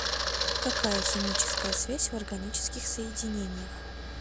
какая химическая связь в органических соединениях